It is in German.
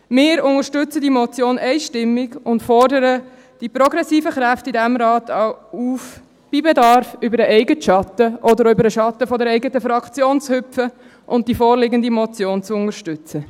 Wir unterstützen die Motion einstimmig und fordern die progressiven Kräfte in diesem Rat auf, bei Bedarf über den eigenen Schatten oder über den Schatten der eigenen Fraktion zu hüpfen und die vorliegende Motion zu unterstützen.